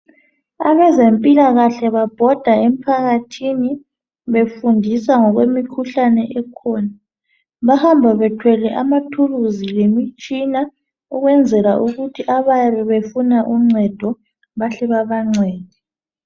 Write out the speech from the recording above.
Abezempilakahle babhoda emphakathini befundisa ngokwemikhuhlane ekhona. Bahamba bethwele amathuluzi lemitshina ukwenzela ukuthi abayabe befuna uncedo bahle babancede.